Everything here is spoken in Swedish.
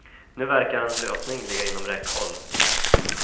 Nu verkar en lösning ligga inom räckhåll.